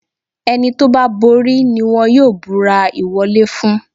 Ẹni tó bá borí ni wọ́n yóò búrà ìwọlé fún.